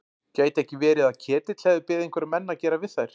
Gæti ekki verið að Ketill hefði beðið einhverja menn að gera við þær?